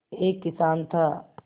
एक किसान था